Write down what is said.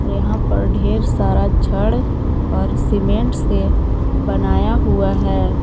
यहां पर ढेर सारा छड़ और सीमेंट से बनाया हुआ है।